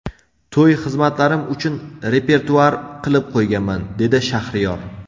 To‘y xizmatlarim uchun repertuar qilib qo‘yganman”, dedi Shahriyor.